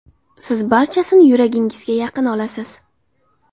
Siz barchasini yuragingizga yaqin olasiz.